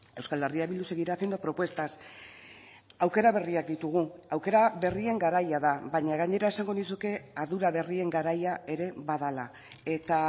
euskal herria bildu seguirá haciendo propuestas aukera berriak ditugu aukera berrien garaia da baina gainera esango nizuke ardura berrien garaia ere badela eta